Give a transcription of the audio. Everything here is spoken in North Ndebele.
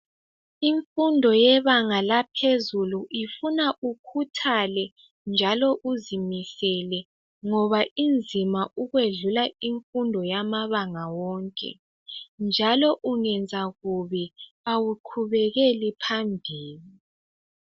Imfundo yebanga laphezulu ifuna ukhuthale njalo uzimisele ngoba unzima ukwedlula imfundo yamabanga wonke njalo ungenza kubi awuqhubeleli phambili